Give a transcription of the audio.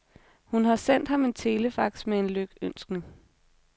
Hun har sendt ham en telefax med en lykønskning.